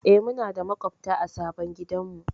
Eh, muna da maƙwabta a sabon gidanmu.